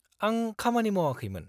-आं खामानि मावाखैमोन।